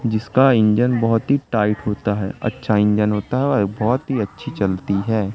जिसका इंजन बहोत ही टाइट होता है अच्छा इंजन होता है और बहोत ही अच्छी चलती है।